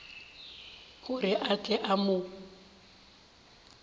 gore a tle a mo